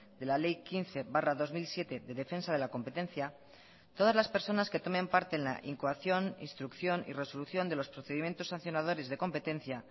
de la ley quince barra dos mil siete de defensa de la competencia todas las personas que tomen parte en la incoación instrucción y resolución de los procedimientos sancionadores de competencia